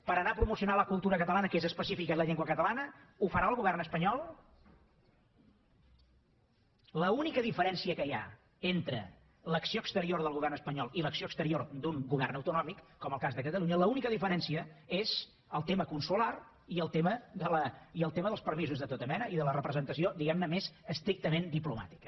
per anar a promocionar la cultura catalana que és específica i la llengua catalana ho farà el govern espanyol l’única diferència que hi ha entre l’acció exterior del govern espanyol i l’acció exterior d’un govern autonòmic com el cas de catalunya l’única diferència és el tema consular i el tema dels permisos de tota mena i de la representació diguem ne més estrictament diplomàtica